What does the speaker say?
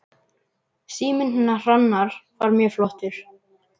Síminn hennar Hrannar var mjög flottur.